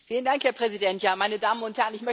Herr Präsident, meine Damen und Herren!